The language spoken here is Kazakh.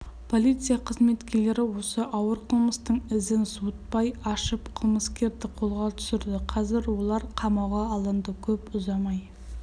полиция қызметкерлеріосы ауыр қылмыстың ізін суытпай ашып қылмыскерді қолға түсірді қазір олар қамауға алынды көп ұзамай